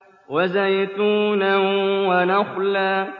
وَزَيْتُونًا وَنَخْلًا